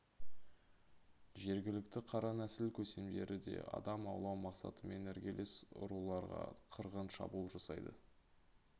жергілікті қара нәсіл көсемдері де адам аулау мақсатымен іргелес ұруларға қырғын шабуыл жасайды